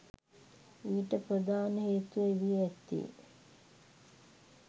ඊට ප්‍රධාන හේතුව වී ඇත්තේ